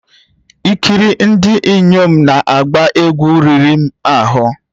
Ikiri ndị inyom na-agba egwu riri m ahụ